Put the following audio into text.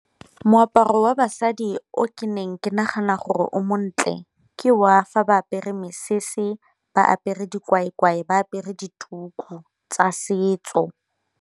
Moaparo wa basadi o ke neng ke nagana gore o montle ke wa fa ba apere mesese, ba apere dikwaekwae, ba apere dituku tsa setso.